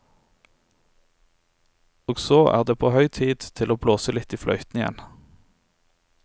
Og så er det på høy tid å blåse litt i fløyten igjen.